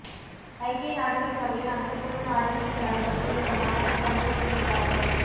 ஐக்கிய நாடுகள் சபையின் அங்கத்துவ நாடுகளின் தலைவர்கள் இந்த மாநாட்டில் பங்குற்றுகின்றார்கள்